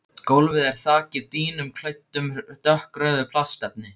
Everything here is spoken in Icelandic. Gólfið er þakið dýnum klæddum dökkrauðu plastefni.